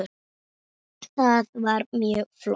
Það var mjög flott.